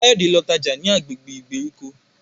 Kayode ló tájá ní agbègbè ìgbèríko.